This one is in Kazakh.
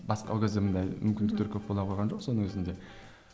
басқа ол кезде мұндай мүмкіндіктер көп бола қойған жоқ соның өзінде